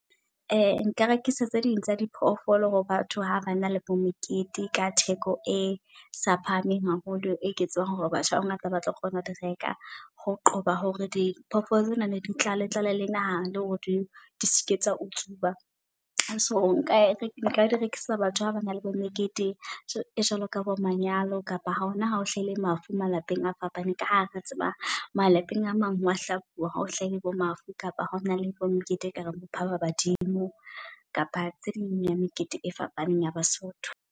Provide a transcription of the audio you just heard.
Nka rekisa tse ding tsa diphoofolo hore batho ha ba na le bo mekete ka theko e sa phahameng haholo. E ke tsebang hore batho ba bangata ba tlo kgona ho di reka ho qoba hore diphoofolo tsena ne di tlale tlale la naha le hore di se ke tsa utsuwa. So nka e nka di rekisa batho ba ba na le bo mekete e jwalo ka bo manyalo kapa ha hona hao hlaile mafu malapeng a fapaneng. Ka ha re tseba malapeng a mang wa hlabua ha o hlahile bo mafu kapa ho na le bo mokete eka reng bo mphabadimo. Kapa tse ding ya mekete e fapaneng ya baSotho.